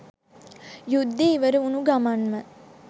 යුද්දේ ඉවර වුනු ගමන්ම.